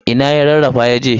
Ina ya rarrafa yaje?